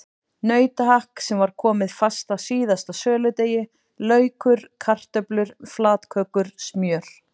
Nautahakk sem var komið fast að síðasta söludegi, laukur, kartöflur, flatkökur, smjör.